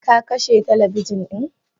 Kakashe talabijin din?